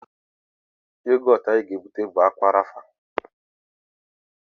Yogọtụ anyị ga-ebute bụ Ákwà Rafa